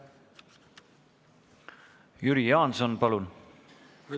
Jüri Jaanson, palun!